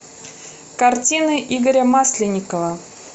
картины игоря масленникова